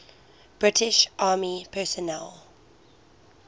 british army personnel